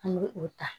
An bɛ o ta